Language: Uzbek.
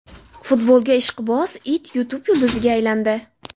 Futbolga ishqiboz it YouTube yulduziga aylandi.